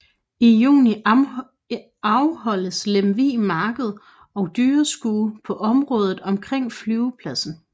I juni afholdes Lemvig Marked og Dyrskue på området omkring flyvepladsen